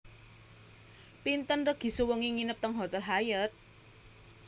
Pinten regi sewengi nginep teng hotel Hyatt